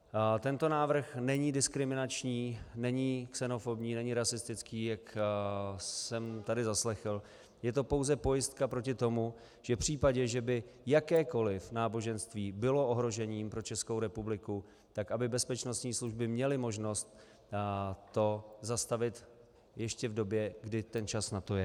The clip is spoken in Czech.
Tento návrh není diskriminační, není xenofobní ani rasistický, jak jsem tady zaslechl, je to pouze pojistka proti tomu, že v případě, že by jakékoliv náboženství bylo ohrožením pro Českou republiku, tak aby bezpečnostní služby měly možnost to zastavit ještě v době, kdy ten čas na to je.